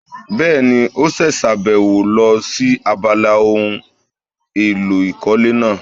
Bẹ́ẹ̀ni, ó ṣe sàbẹ̀wò lọ sí abala ohun èlò ìkọ́lé náà